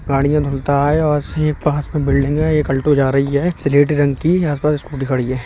गाड़ियाँ धुलता है और यहीं पास में बिल्डिंग है। एक अल्टो जा रही है स्लेटी रंग की यहाँ आस-पास स्कूटी खड़ी है।